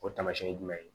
O taamasiyɛn ye jumɛn ye